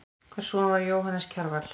Hvers son var Jóhannes Kjarval?